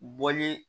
Bɔli